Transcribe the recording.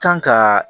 Kan ka